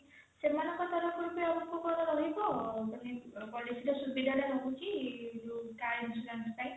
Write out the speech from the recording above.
ସେମାନଙ୍କ ତରଫରୁ ଆମକୁ କଣ ରହିବ ସୁବିଧା ଟା ରହୁଛି ଯୋଉ car insurance ପାଇଁ